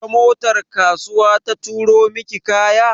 Ta motar kasuwa ta turo miki kaya?